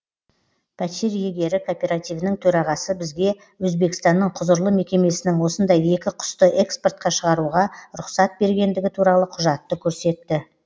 пәтер иегері кооперативінің төрағасы бізге өзбекстанның құзырлы мекемесінің осындай екі құсты экспортқа шығаруға рұқсат бергендігі туралы құжатты көрсетті